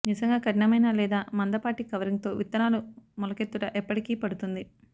నిజంగా కఠినమైన లేదా మందపాటి కవరింగ్ తో విత్తనాలు మొలకెత్తుట ఎప్పటికీ పడుతుంది